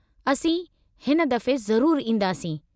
असीं हिन दफ़ो ज़रूरु ईंदासीं।